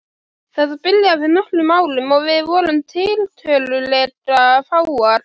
Þetta byrjaði fyrir nokkrum árum og við vorum tiltölulega fáar.